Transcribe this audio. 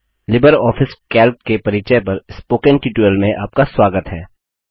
Libre Office Calc के परिचय पर स्पोकन ट्यूटोरियल में आपका स्वागत है